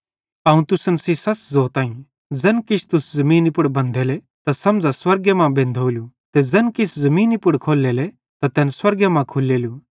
अवं तुसन सेइं सच़ ज़ोताईं ज़ैन किछ तुस ज़मीनी पुड़ बंधेले त समझ़ा कि स्वर्गे पुड़ बंधोलू ते ज़ैन किछ तुस ज़मीनी पुड़ खोल्लेले त तैन स्वर्गे मां खुल्लेलू